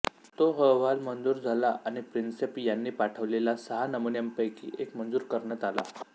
तो अहवाल मंजूर झाला आणि प्रिन्सेप यांनी पाठविलेल्या सहा नमुन्यांपैकी एक मंजूर करण्यात आला